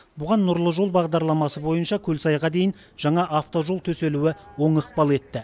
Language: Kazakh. бұған нұрлы жол бағдарламасы бойынша көлсайға дейін жаңа автожол төселуі оң ықпал етті